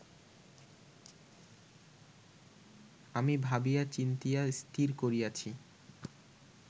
আমি ভাবিয়া চিন্তিয়া স্থির করিয়াছি